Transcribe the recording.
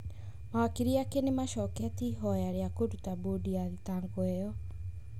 Mawakiri ake nĩmacoketie ihoya rĩa kũrũta bodi ya thitango ĩyo.